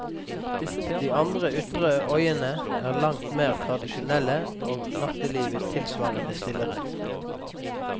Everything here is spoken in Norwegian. De andre ytre øyene er langt mer tradisjonelle, og nattelivet tilsvarende stillere.